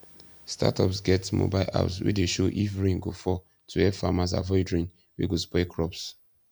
startups get mobile apps wey dey show if rain go fall to help farmers avoid rain wey go spoil crops